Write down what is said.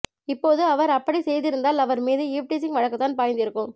இப்போது அவர் அப்படி செய்திருந்தால் அவர் மீது ஈவ்டீசிங் வழக்குதான் பாய்ந்திருக்கும்